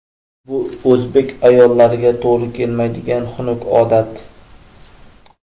Bu o‘zbek ayollariga to‘g‘ri kelmaydigan xunuk odat.